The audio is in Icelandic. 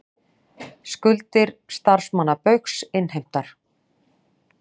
Skuldir starfsmanna Baugs innheimtar